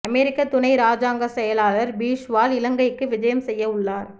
அமெரிக்க துணை ராஜாங்கச் செயலாளர் பிஷ்வால் இலங்கைக்கு விஜயம் செய்ய உள்ளார்